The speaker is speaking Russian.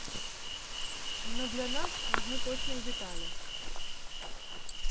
но для нас важны точные детали